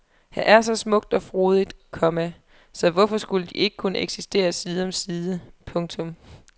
Her er så smukt og frodigt, komma så hvorfor skulle de ikke kunne eksistere side om side. punktum